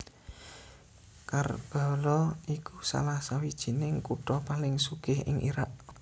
Karbala iku salah sawijining kutha paling sugih ing Irak